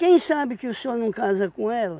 Quem sabe que o senhor não casa com ela?